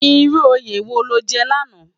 Irú óyé wó ló jè làná?